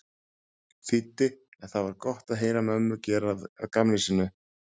þýddi en það var gott að heyra mömmu gera að gamni sínu.